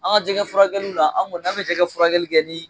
An ka jɛgɛ furakɛliw la an kɔni an mi jɛgɛ furakɛli kɛ ni